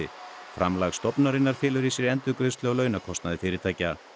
framlag stofnunarinnar felur í sér endurgreiðslu á launakostnaði fyrirtækja